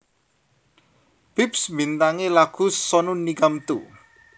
Bips mbintangi lagu Sonu Nigam Tu